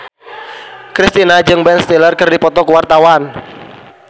Kristina jeung Ben Stiller keur dipoto ku wartawan